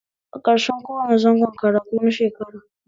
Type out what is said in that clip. A ƙarshen kowane zangon karatu na shekara